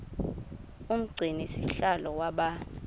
umgcini sihlalo waba